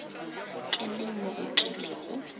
ke neng mo o kilego